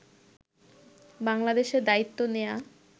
বাংলাদেশে দায়িত্ব নেয়া